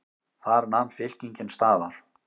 Þar nam fylkingin staðar.